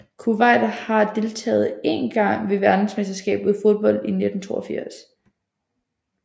Kuwait har deltage én gang ved Verdensmesterskabet i fodbold i 1982